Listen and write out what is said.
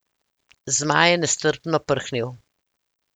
Zmaj je nestrpno prhnil.